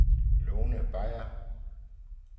Lone Beyer